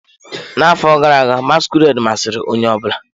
N'afọ gara aga, masquerade masịrị onye ọ bụla.